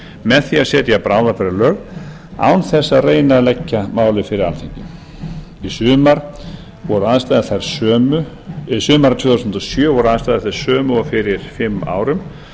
með því að setja bráðabirgðalög án þess að reyna að leggja málið fyrir alþingi sumarið tvö þúsund og sjö voru aðstæður þær sömu og fyrir fimm árum